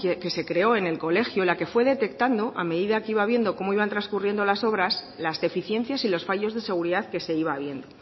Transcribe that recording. que se creó en el colegio la que fue detectando a medida que iba viendo cómo iban trascurriendo las obras las deficiencias y los fallos de seguridad que se iba viendo